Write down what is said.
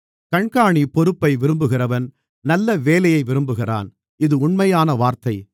கண்காணி பொறுப்பை விரும்புகிறவன் நல்ல வேலையை விரும்புகிறான் இது உண்மையான வார்த்தை